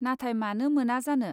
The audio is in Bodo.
नाथाय मानो मोना जानो.